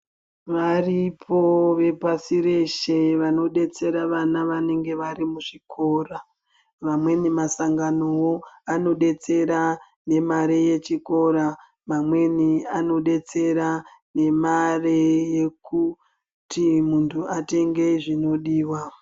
kutenga vepashi reshe vanobetsera vana vanenge varimuzvikora amweni masangano anobetsera nemari dzechikora amweni anobetsera nemari yekuti muntu atenge zvinodiwa.